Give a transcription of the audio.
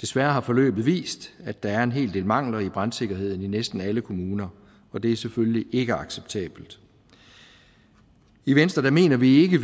desværre har forløbet vist at der er en hel del mangler i brandsikkerheden i næsten alle kommuner og det er selvfølgelig ikke acceptabelt i venstre mener vi ikke